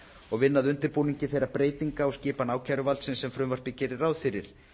og vinna að undirbúningi þeirra breyting á skipan ákæruvaldsins sem frumvarpið gerir ráð fyrir